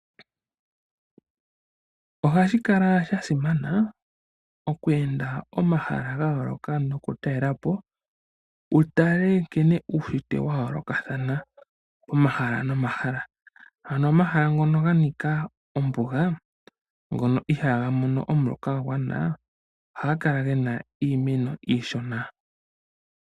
Ohashi kala shasimana okweenda omahala gayooloka nokutalelapo ,wutale nkene uunshitwe wayoolokathana omahala momahala. Ano omahala ngono ganika ombuga , ngono ihaaga mono omuloka gwagwana , ohaga kala gena iimeno iishona.